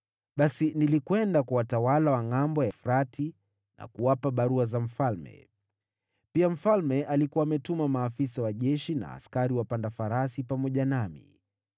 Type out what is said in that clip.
Basi nilienda kwa watawala wa Ngʼambo ya Frati na kuwapa barua za mfalme. Pia mfalme alikuwa ametuma maafisa wa jeshi na askari wapanda farasi pamoja nami.